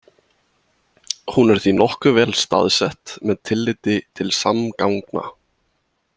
Hún er því nokkuð vel staðsett með tilliti til samgangna.